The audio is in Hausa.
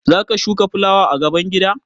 Za ka shuka fulawa a gaban gida?